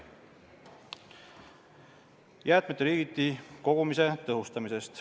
Kõigepealt jäätmete liigiti kogumise tõhustamisest.